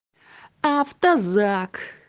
автозак